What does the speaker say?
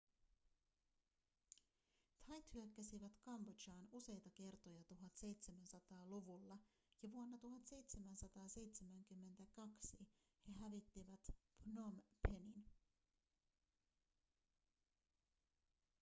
thait hyökkäsivät kambodžaan useita kertoja 1700-luvulla ja vuonna 1772 he hävittivät phnom phenin